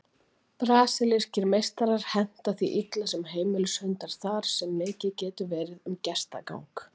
Brasilískir meistarar henta því illa sem heimilishundar þar sem mikið getur verið um gestagang.